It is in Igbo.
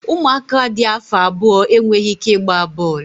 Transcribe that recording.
Ụmụaka dị afọ abụọ enweghị ike ịgba bọọlụ